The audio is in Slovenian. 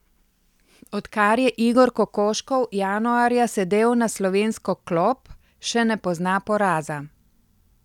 Od kar je Igor Kokoškov januarja sedel na slovensko klop, še ne pozna poraza.